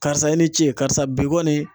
Karisa i ni ce, karisa bi kɔni